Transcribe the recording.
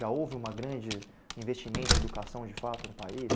Já houve uma grande investimento em educação de fato no país?